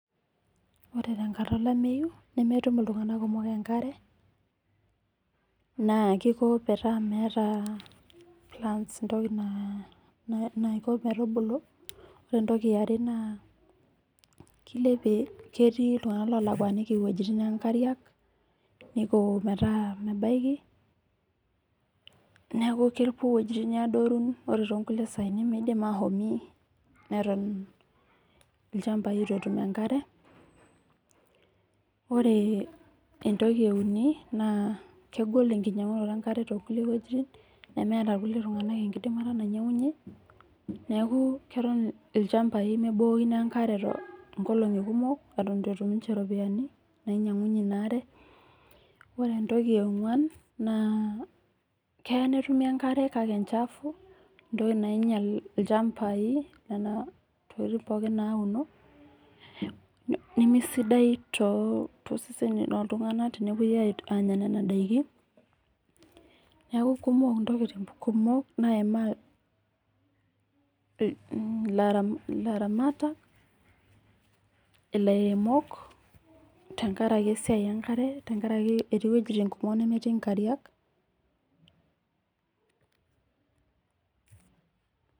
Wore tenkata olameyu nemetum iltunganak kumok enkare, naa keiko metaa meeta plans entoki naiko metubulu, wore entoki eare naa kilepie ketii iltunganak oolakuaniki iwejitin oonkariak, neiko metaa mebaiki, neeku kepuo iwojitin adoru wore toonkulie saai nimiidim ashomo, neton ilchambai itu etum enkare, wore entoki euni naa kegol enkinyiangunoto enkare toonkulie wuejitin, nemeeta irkulie tunganak enkidimata nainyiangunyie, neeku keton ilchambai mebukokino enkare inkolongi kumok eton itu etum ninche iropiyani nainyiangunyie inaare. Wore entoki eenguan naa keya netumi enkare kake enchafu entoki nainyial ilchambai niana tokitin pookin nauno, nemesidai toseseni loltungani tenepuoi aanya niana daikin, neeku kumok intokitin kumok naimaa ilaramatak ilairemok tenkaraki esiai enkare tenkaraki etii iwejitin kumok nemetii inkarriak.